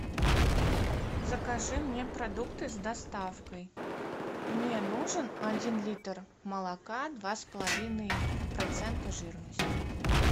закажи мне продукты с доставкой мне нужен один литр молока два с половиной процента жирности